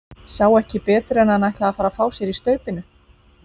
Sá ekki betur en að hann ætlaði að fara að fá sér í staupinu!